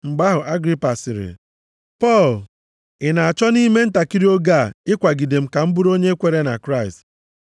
Mgbe ahụ Agripa sịrị, “Pọl, ị na-achọ nʼime ntakịrị oge a ịkwagide m ka m bụrụ onye kwere na Kraịst?”